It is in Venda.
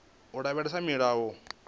u lavhelesa milayo na vhuimo